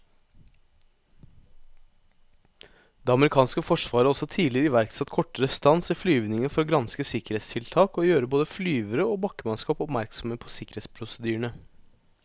Det amerikanske forsvaret har også tidligere iverksatt kortere stans i flyvningene for å granske sikkerhetstiltak og gjøre både flyvere og bakkemannskap oppmerksomme på sikkerhetsprosedyrene.